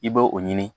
I b'o o ɲini